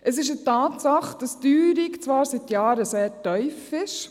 Es ist eine Tatsache, dass die Teuerung zwar seit Jahren sehr tief ist.